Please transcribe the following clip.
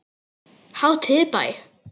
Hátíð í bæ